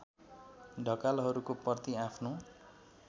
ढकालहरूको प्रति आफ्नो